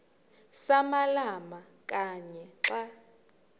samalama kanye xa